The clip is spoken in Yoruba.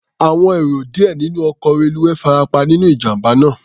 Àwọn èrò díẹ̀ nínú ọkọ̀ reluwé farapa nínú ìjàm̀bá náà.